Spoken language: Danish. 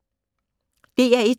DR1